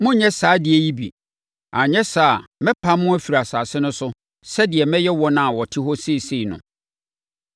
Monnyɛ saa adeɛ no bi, anyɛ saa a, mɛpam mo afiri asase no so sɛdeɛ mɛyɛ wɔn a wɔte hɔ seesei no.